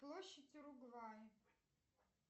площадь уругвай